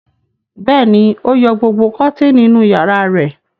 Bẹ́ẹ̀ ni, ó yọ gbogbo kọ́tíínì inú ìyàrá rẹ̀.